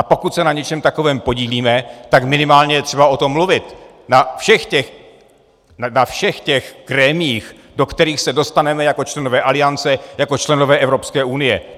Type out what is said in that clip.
A pokud se na něčem takovém podílíme, tak minimálně je třeba o tom mluvit na všech těch grémiích, do kterých se dostaneme jako členové Aliance, jako členové Evropské unie.